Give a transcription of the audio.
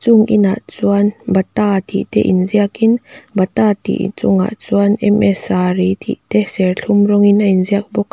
chung inah chuan bata tih te inziak in bata tih chungah chuan m s saree tih te serthlum rawngin a inziak bawk a.